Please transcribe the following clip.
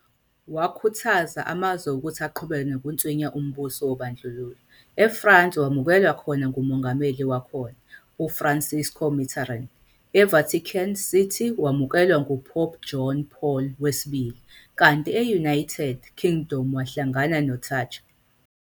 Wakhuthaza amazwe ukuthi aqhubeke nokunswinya umbuso wobandlululo, eFrance wemukelwa khona nguMongameli wakhona, uFrançois Mitterrand, eVatican City wamukelwa nguPope John Paul II, kanti eUnited Kingdom wahlangana noThatcher.